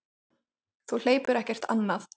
Þú hleypur ekkert annað.